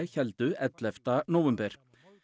héldu ellefta nóvember